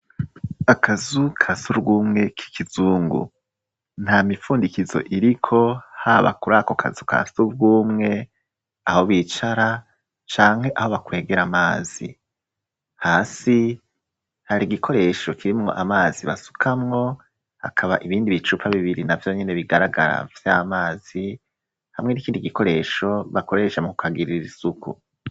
Akazu ka surwumwe kiki zungu nta mipfundikizo iriko haba kuri ako kazu ka surwumwe aho bicara canke aho bakwegera amazi hasi hari igikoresho kirimwo amazi basukamwo hakaba ibindi bicupa bibiri navyo nyene bigaragara vy'amazi hamwe n'ikindi gikoresho bakoresha mu ku hagirira isuku.